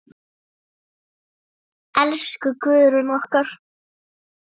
Elsku Guðrún okkar.